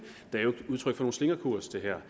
udtryk for nogen slingrekurs det her